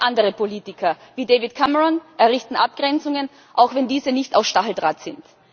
Auch andere Politiker, wie David Cameron, errichten Abgrenzungen, auch wenn diese nicht aus Stacheldraht sind.